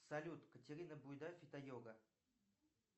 салют катерина буйда фитойога